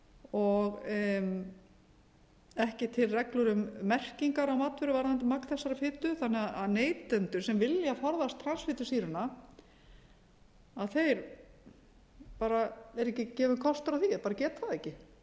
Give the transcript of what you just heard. og ekki til reglur um merkingar á matvöru varðandi magn þessarar fitu þannig að neytendum sem vilja forðast transfitusýruna er ekki gefinn kostur á því eða bara geta það ekki